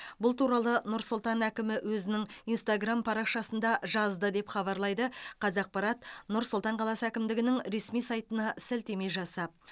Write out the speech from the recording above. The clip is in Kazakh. бұл туралы нұр сұлтан әкімі өзінің инстаграм парақшасында жазды деп хабарлайды қазақпарат нұр сұлтан қаласы әкімдігінің ресми сайтына сілтеме жасап